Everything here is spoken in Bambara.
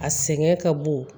A sɛgɛn ka bon